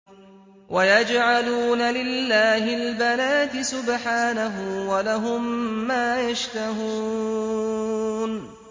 وَيَجْعَلُونَ لِلَّهِ الْبَنَاتِ سُبْحَانَهُ ۙ وَلَهُم مَّا يَشْتَهُونَ